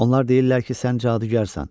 Onlar deyirlər ki, sən cadugərsən.